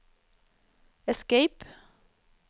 escape